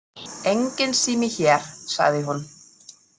Enginn sími hér, sagði hún.